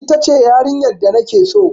Ita ce yarinyar da na ke so.